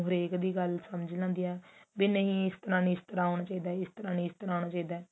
ਹਰੇਕ ਦੀ ਗੱਲ ਸਮਝ ਲੈਂਦੀ ਹੈ ਨਹੀ ਇਸ ਤਰ੍ਹਾਂ ਨੀ ਇਸ ਤਰ੍ਹਾਂ ਹੋਣਾ ਚਾਹੀਦਾ ਇਸ ਤਰ੍ਹਾਂ ਨੀ ਇਸ ਤਰ੍ਹਾਂ ਹੋਣਾ ਚਾਹੀਦਾ